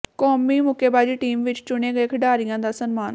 ਕੌਮੀ ਮੁੱਕੇਬਾਜ਼ੀ ਟੀਮ ਵਿੱਚ ਚੁਣੇ ਗਏ ਖਿਡਾਰੀਆਂ ਦਾ ਸਨਮਾਨ